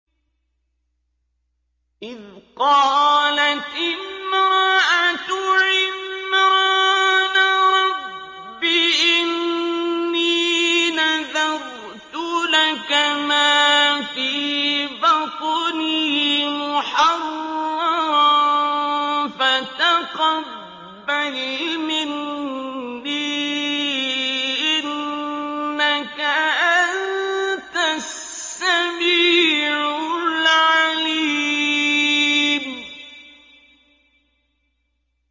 إِذْ قَالَتِ امْرَأَتُ عِمْرَانَ رَبِّ إِنِّي نَذَرْتُ لَكَ مَا فِي بَطْنِي مُحَرَّرًا فَتَقَبَّلْ مِنِّي ۖ إِنَّكَ أَنتَ السَّمِيعُ الْعَلِيمُ